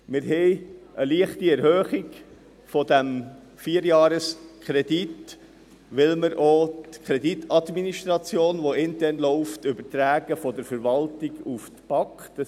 Wir haben eine leichte Erhöhung dieses Vierjahreskredits, weil wir auch die Kreditadministration, die intern läuft, von der Verwaltung an die BAK übertragen.